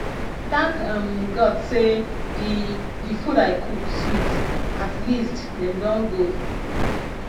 thank um god say the the food i cook sweet at least dem don go